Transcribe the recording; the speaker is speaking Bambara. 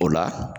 O la